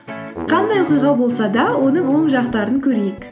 қандай оқиға болса да оның оң жақтарын көрейік